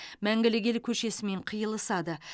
мәңгілік ел көшесімен қиылысады